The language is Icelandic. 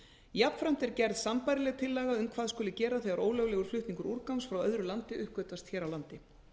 jafnframt er gerð sambærileg tillaga um hvað skuli gera þegar ólöglegur flutningur úrgangs frá öðru landi uppgötvast hér á landi